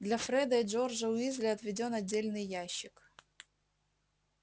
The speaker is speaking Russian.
для фреда и джорджа уизли отведён отдельный ящик